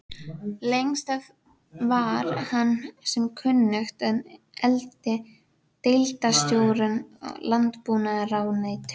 Lengst af var hann sem kunnugt er deildarstjóri í landbúnaðarráðuneytinu.